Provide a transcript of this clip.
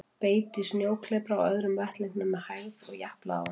Beit í snjóklepra á öðrum vettlingnum með hægð og japlaði á honum.